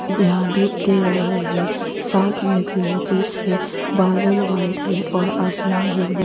देहां धूप दे रहा है साथ में ग्रीनीतीश है बादल वाइट है और आसमान है ब्लू --